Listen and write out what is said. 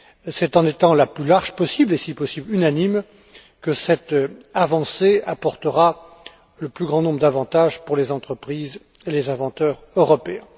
C'est en étant la plus large possible, et si possible unanime, que cette avancée apportera le plus grand nombre d'avantages pour les entreprises et les inventeurs européens.